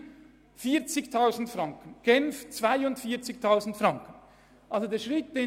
In Zürich kostet die Ausbildung 40 000 Franken und in Genf 42 000 Franken.